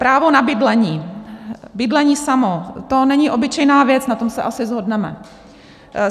Právo na bydlení, bydlení samo, to není obyčejná věc, na tom se asi shodneme.